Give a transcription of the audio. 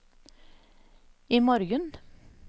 imorgen